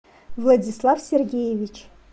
владислав сергеевич